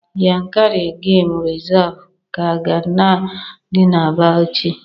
Yankari game Reserve ka ga-adị na Bauchi